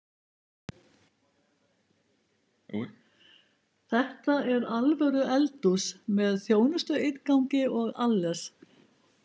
Þetta er alvöru eldhús, með þjónustuinngangi og alles